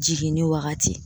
Jiginni wagati.